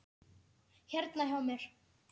Hérna hjá mér.